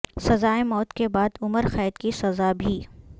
سزائے موت کے بعد عمر قید کی سزا بھی